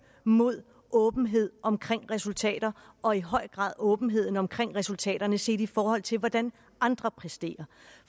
mod åbenhed omkring resultater og i høj grad åbenheden omkring resultaterne set i forhold til hvordan andre præsterer